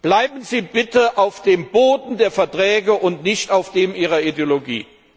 Bleiben Sie bitte auf dem Boden der Verträge und nicht auf dem Ihrer Ideologie!